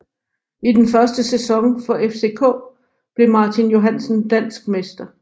I den første sæson for FCK blev Martin Johansen dansk mester